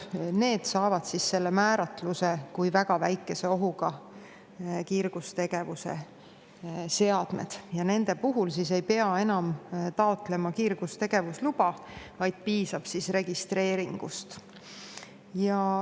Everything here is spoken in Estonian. Need saavad nüüd määratluse kui väga väikese ohuga kiirgustegevuse seadmed ja nende puhul ei pea enam taotlema kiirgustegevusluba, vaid piisab registreeringust.